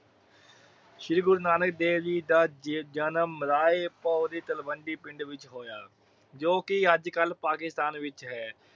ਸ਼੍ਰੀ ਗੁਰੂ ਨਾਨਕ ਦੇਵ ਜੀ ਦਾ ਜਜਨਮ ਮਲਾਹੇ ਭੋਇ ਦੀ ਤਲਵੰਡੀ ਪਿੰਡ ਵਿਚ ਹੋਇਆ ਜੋ ਕਿ ਅੱਜ ਕੱਲ ਪਾਕਿਸਤਾਨ ਵਿਚ ਹੈ।